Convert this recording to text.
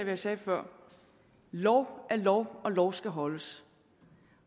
jeg sagde før lov er lov og lov skal holdes